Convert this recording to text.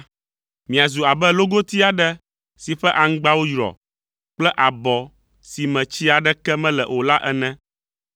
Miazu abe logoti aɖe si ƒe aŋgbawo yrɔ kple abɔ si me tsi aɖeke mele o la ene.